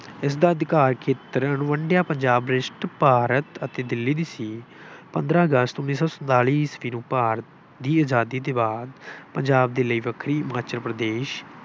ਇਸਦਾ ਅਧਿਕਾਰ ਖੇਤਰ ਅਣਵੰਡਿਆ ਪੰਜਾਬ ਵਿਸ਼ਿਸ਼ਟ ਭਾਰਤ ਅਤੇ ਦਿੱਲੀ ਵੀ ਸੀ। ਪੰਦਰਾਂ ਅਗਸਤ ਉੱਨੀ ਸੌ ਸੰਤਾਲੀ ਈਸਵੀ ਨੂੰ ਭਾਰਤ ਦੀ ਆਜ਼ਾਦੀ ਦੇ ਬਾਅਦ ਪੰਜਾਬ ਦੇ ਲਈ ਵੱਖਰੀ, ਹਿਮਾਚਲ ਪ੍ਰਦੇਸ਼